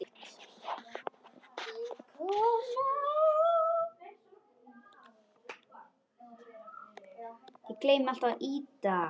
Það hef ég alltaf sagt.